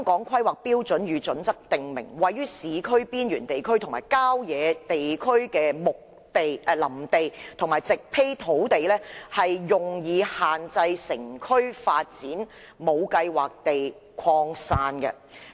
《規劃標準》訂明，綠化地帶"位於市區邊緣地區和郊野地區的林地和植被土地，用以限制城區發展無計劃地擴散"。